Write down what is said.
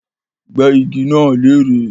Gbẹ́ igi náà lérè